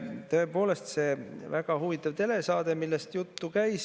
Tõepoolest, see, millest jutt käis, oli väga huvitav telesaade.